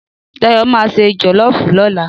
Dáyọ̀ ma ṣe jọ̀lọ́fù lọ́la.